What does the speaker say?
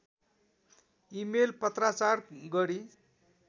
email पत्राचार गरी